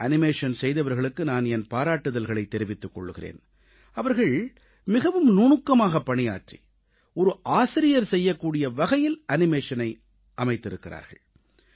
இந்த காணொளியை அசைவூட்டச் செய்தவர்களுக்கு நான் என் பாராட்டுதல்களைத் தெரிவித்துக் கொள்கிறேன் அவர்கள் மிகவும் நுணுக்கமாகப் பணியாற்றி ஒரு ஆசிரியர் செய்யக்கூடிய வகையில் அனிமேஷனை அமைத்திருக்கிறார்கள்